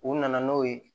U nana n'o ye